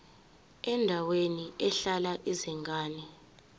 endaweni ehlala izingane